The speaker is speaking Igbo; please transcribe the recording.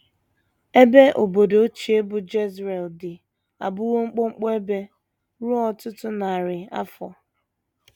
EBE obodo ochie bụ́ Jezreel dị abụwo mkpọmkpọ ebe ruo ọtụtụ narị afọ.